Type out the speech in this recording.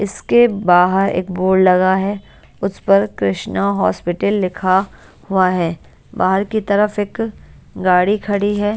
इसके बाहर एक बोर्ड लगा है उसपर कृष्णा हॉस्पिटल लिखा हुआ है बाहर की तरफ एक गाड़ी खड़ी है।